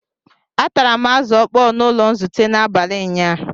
Atara m Azu okpoo n'ulo nzute n'abali nyaa